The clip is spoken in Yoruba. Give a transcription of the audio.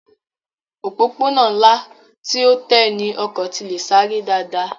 Òpópónà ńlá tí ó tẹ́ ní ọkọ̀ tí le sáré dáadáa